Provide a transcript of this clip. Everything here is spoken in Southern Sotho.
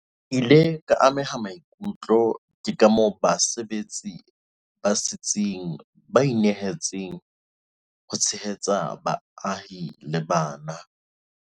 Ke ile ka ameha maikutlo ke kamoo basebetsi ba setsing ba inehetseng ho tshehetseng baahi le bana.